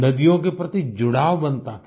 नदियों के प्रति जुड़ाव बनता था